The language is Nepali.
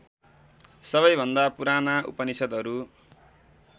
सबैभन्दा पुराना उपनिषद्हरू